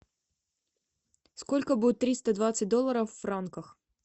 сколько будет триста двадцать долларов в франках